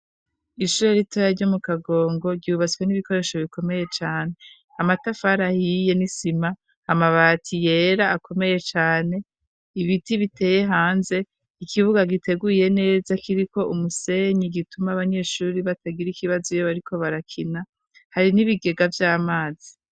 Ishure ritoya ryo mu kagongo ,ryubatswe n'ibikoresho bikomeye cane. Amatafari ahiye nisima , amabati yera akomeye cane , ibiti biteye hanze, ikibuga giteguye neza kiriko umusenyi gituma abanyeshure batagira ikibazo iyo bariko barakina , hari n'ibigega vy'amazi.